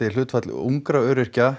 hlutfall ungra öryrkja